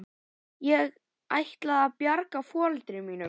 Ég ætlaði að bjarga foreldrum mínum.